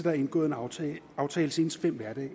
er indgået en aftale aftale senest fem hverdage